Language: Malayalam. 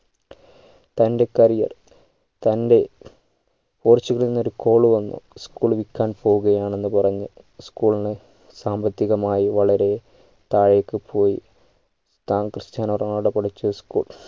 തൻ്റെ career തൻ്റെ പോർച്ചുകലിൽ നിന്ന് ഒരു call വന്നു school വിൽക്കാൻ പോക്കുകയാണ് എന്ന് പറഞ്ഞ് school ന് സാമ്പത്തികമായി വളരെ താഴെക് പോയി താൻ ക്രിസ്റ്റ്യാനോ റൊണാൾഡോ പഠിച്ച school